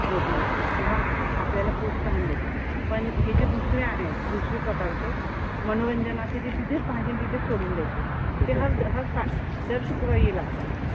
Motivational किंवा आपल्याला प्रोत्साहन देतो. पण हे जे दुसरा आहेत. दुसरी प्रकारचे मनोरंजनाचे जे तिथेच पाहायचे अन तिथेच सोडून द्यायचे. ते दर शुक्रवारी लागतात.